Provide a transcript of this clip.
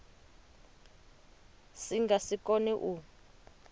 si nga si kone u